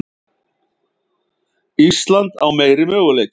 Ísland á meiri möguleika